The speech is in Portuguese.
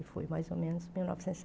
E foi mais ou menos em mil novecentos e